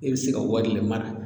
E be se ka wari le mara